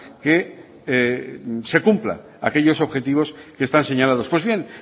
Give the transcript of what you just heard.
que se cumplan aquellos objetivos que están señalados pues bien